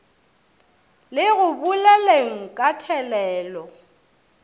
le go boleleng ka thelelo